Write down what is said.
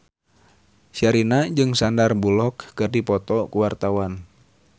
Sherina jeung Sandar Bullock keur dipoto ku wartawan